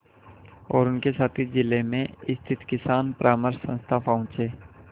और उनके साथी जिले में स्थित किसान परामर्श संस्था पहुँचे